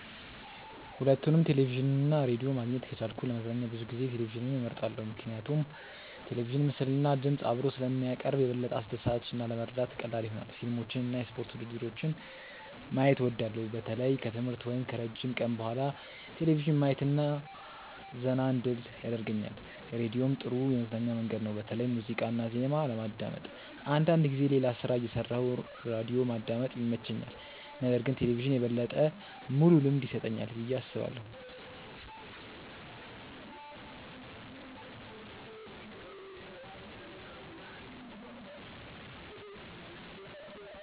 ሁለቱንም ቴሌቪዥን እና ራዲዮ ማግኘት ከቻልኩ ለመዝናኛ ብዙ ጊዜ ቴሌቪዥንን እመርጣለሁ። ምክንያቱም ቴሌቪዥን ምስልና ድምፅ አብሮ ስለሚያቀርብ የበለጠ አስደሳች እና ለመረዳት ቀላል ይሆናል። ፊልሞችን እና የስፖርት ውድድሮችን ማየት እወዳለሁ። በተለይ ከትምህርት ወይም ከረጅም ቀን በኋላ ቴሌቪዥን ማየት ዘና እንድል ያደርገኛል። ራዲዮም ጥሩ የመዝናኛ መንገድ ነው፣ በተለይ ሙዚቃ እና ዜና ለማዳመጥ። አንዳንድ ጊዜ ሌላ ሥራ እየሠራሁ ራዲዮ ማዳመጥ ይመቸኛል። ነገር ግን ቴሌቪዥን የበለጠ ሙሉ ልምድ ይሰጠኛል ብዬ አስባለሁ።